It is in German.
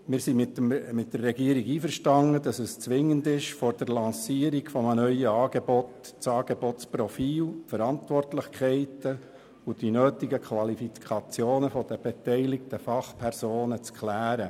Wir sind mit der Regierung einverstanden, wonach es zwingend ist, vor der Lancierung eines neuen Angebots das Angebotsprofil, die Verantwortlichkeiten und die nötigen Qualifikationen der beteiligten Fachpersonen zu klären.